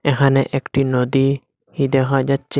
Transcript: এখানে একটি নদী হি দেখা যাচ্ছে।